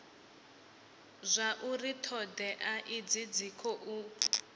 zwauri thodea idzi dzi khou